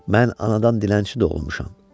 Mən anadan dilənçi doğulmuşam.